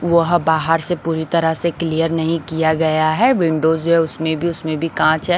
वह बाहर से पूरी तरह से क्लीयर नहीं किया गया है विंडोज़ या उसमें भी उसमें भी कांच है।